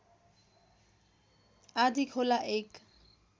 आँधीखोला एक